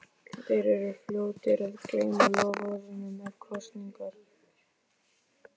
Þeir eru fljótir að gleyma loforðunum eftir kosningar.